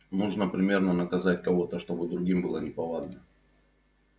нужно примерно наказать кого-то чтобы другим было неповадно